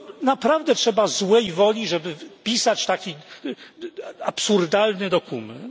Naprawdę trzeba złej woli, żeby pisać taki absurdalny dokument.